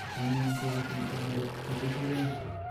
Konyon kokatan tondet betusiek aeng